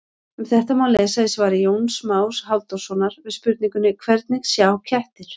Um þetta má lesa í svari Jóns Más Halldórssonar við spurningunni Hvernig sjá kettir?